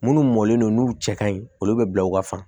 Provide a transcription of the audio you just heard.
Munnu mɔlen no n'u cɛ kaɲi olu bɛ bila u ka fa